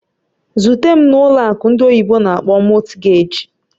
Zute m na ụlọ akụ ndị oyibo n'akpọ "Mortgage"!